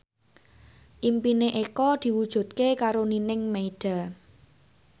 impine Eko diwujudke karo Nining Meida